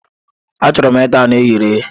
Achọrọ m ita anu e ghere eghe.